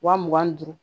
Wa mugan ni duuru